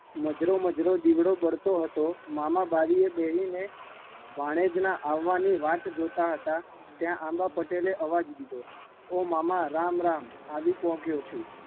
મજરો મજરો દીવડો બળતો હતો મામા બારીએ બેહીને ભાણેજના આવવાની વાટ જોતા હતા ત્યાં આંબા પટેલે અવાજ દીધો ઓ મામા રામ રામ આવી પોકયો છું